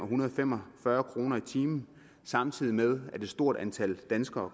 hundrede og fem og fyrre kroner i timen samtidig med at et stort antal danskere